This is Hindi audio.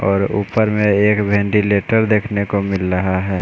और ऊपर में एक वेंटिलेटर देखने को मिल रहा है।